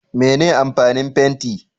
Mene amfanin fenti